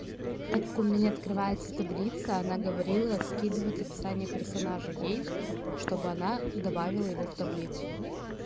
так у меня не открывается таблица она говорила скидывать описание персонажа ей чтобы она добавила его в таблицу